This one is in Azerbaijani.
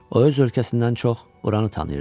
O öz ölkəsindən çox oranı tanıyırdı.